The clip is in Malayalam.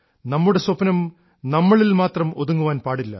നമ്മുടെ സ്വപ്നം നമ്മളിൽ മാത്രം ഒതുങ്ങാൻ പാടില്ല